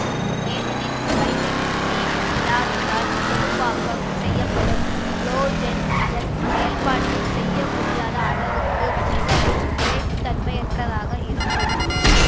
ஏனெனில் vitamin C இல்லாவிட்டால் தொகுப்பாக்கம் செய்யப்படும் கொலாஜென் அதன் செயல்பாட்டு செய்ய முடியாத அளவுக்கு மிகவும் நிலைப்பு தன்மையற்றதாக இருக்கும்